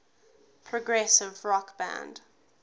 progressive rock band